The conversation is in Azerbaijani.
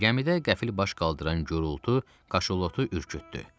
Gəmidə qəfil baş qaldıran gurultu kaşalotu ürkütdü.